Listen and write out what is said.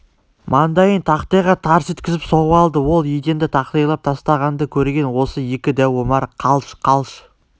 маңдайын тақтайға тарс еткізіп соғып алды ол еденді тақтайлап тастағанды көргені осы екі дәу омар қалш-қалш